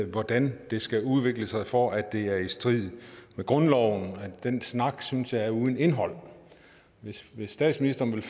hvordan det skal udvikle sig for at det er i strid med grundloven den snak synes jeg er uden indhold hvis statsministeren vil